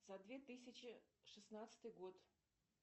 за две тысячи шестнадцатый год